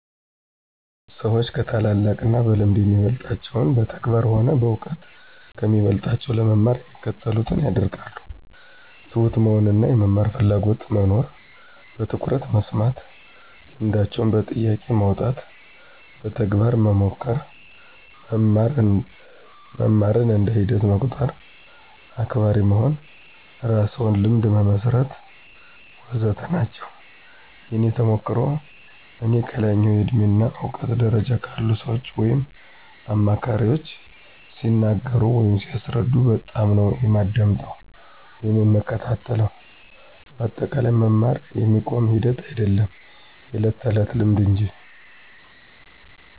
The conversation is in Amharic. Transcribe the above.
ሰዎች ከታላላቅ እና በልምድ የሚበልጣቸውን በተግባር ሆነ በእውቀት ከሚበልጦቸው ለመማር የሚከተሉትን ያደርጋሉ፦ ትሁት መሆን እና የመማር ፍላጎትና መኖር፣ በትኩረት መስማት፣ ልምዳቸውን በጥያቄ ማውጣት፣ በተግባር መሞከር፣ መማርን እንደ ሂደት መቁጠር፣ አክባሪ መሆን፣ የራስዎን ልምድ መሠርት... ወዘተ ናቸው። የእኔ ተሞክሮ፦ እኔ ከላይኛው የእድሜ እና እውቀት ደረጃ ካሉ ሰዎች ወይም አማካሪዎች ሲነገሩ ወይም ሲያስረዱ በጣምነው የማዳምጠው ወይም የምከታተለው በአጠቃላይ መማር የሚቆም ሂደት አይዶለም የዕለት ተዕለት ልምምድ እንጂ።